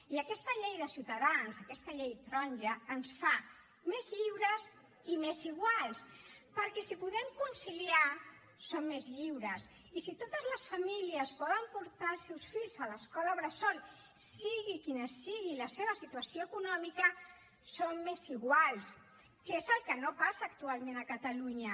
i aquesta llei de ciutadans aquesta llei taronja ens fa més lliures i més iguals perquè si podem conciliar som més lliures i si totes les famílies poden portar els seus fills a l’escola bressol sigui quina sigui la seva situació econòmica som més iguals que és el que no passa actualment a catalunya